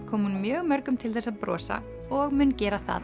kom hún mjög mörgum til þess að brosa og mun gera það